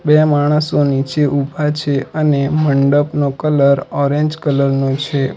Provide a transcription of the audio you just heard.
બે માણસો નીચે ઊભા છે અને મંડપનો કલર ઓરેન્જ કલર નો છે.